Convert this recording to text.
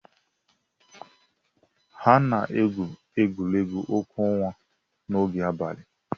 A na-egwu egwuregwu ọkụ ọnwa n'oge abalị.